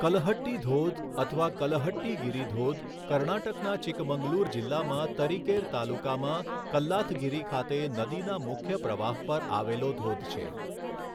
કલહટ્ટી ધોધ અથવા કલહટ્ટીગિરી ધોધ કર્ણાટકના ચિકમંગલૂર જિલ્લામાં તરીકેર તાલુકામાં કલ્લાથગીરી ખાતે નદીના મુખ્ય પ્રવાહ પર આવેલો ધોધ છે.